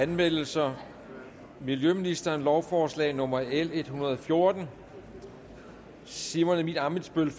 anmeldelser miljøministeren lovforslag nummer l en hundrede og fjorten simon emil ammitzbøll